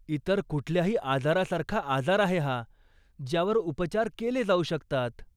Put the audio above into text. इतर कुठल्याही आजारासारखा आजार आहे हा, ज्यावर उपचार केले जाऊ शकतात.